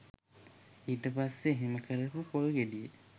ඊට පස්සේ එහෙම කරපු පොල් ගෙඩිය